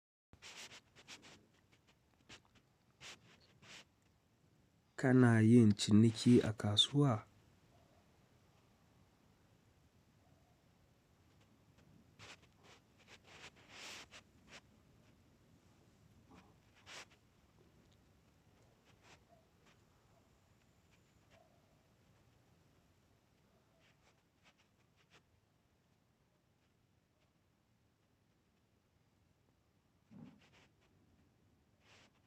Kana yin ciniki a kasuwa?